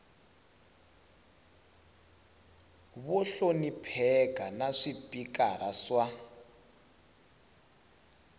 vo hlonipheka na swipikara swa